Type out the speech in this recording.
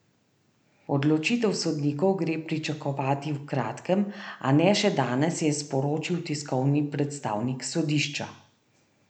Odločitev sodnikov gre pričakovati v kratkem, a ne še danes, je sporočil tiskovni predstavnik sodišča.